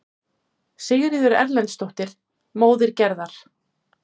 Sigríður Erlendsdóttir, móðir Gerðar.